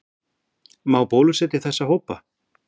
Má bólusetja þessa hópa?